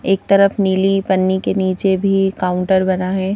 एक तरफ नीली पन्नी के नीचे भी काउंटर बना है।